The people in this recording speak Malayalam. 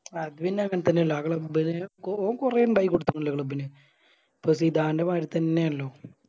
അത് പിന്നെ അങ്ങനെ തന്നെയല്ലേ ആ Club ന് ഓ ഓൻ കൊറേ ഇണ്ടാക്കി കൊടുത്ത്ക്കിണല്ലോ Club ന് പ്രസീദാൻറെ മാരിത്തന്നെയാണല്ലോ